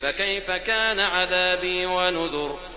فَكَيْفَ كَانَ عَذَابِي وَنُذُرِ